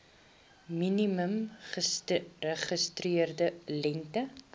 minimum geregistreerde lengte